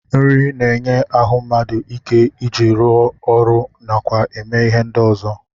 Nri na-enye ahụ mmadụ ike ọ ji arụ ọrụ nakwa eme ihe ndị ọzọ